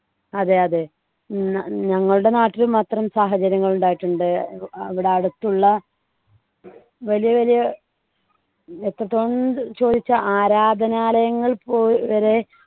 അതെ അതെ ന ഞങ്ങളുടെ നാട്ടിലും അത്തരം സാഹചര്യങ്ങൾ ഉണ്ടായിട്ടുണ്ട് അവിടെ അടുത്തുള്ള വലിയ വലിയ എത്രത്തോളംന്ന് ചോദിച്ചാൽ ആരാധനാലയങ്ങൾ പോ വരെ